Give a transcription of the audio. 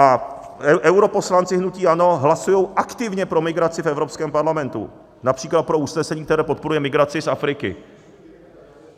A europoslanci hnutí ANO hlasují aktivně pro migraci v Evropském parlamentu, například pro usnesení, které podporuje migraci z Afriky.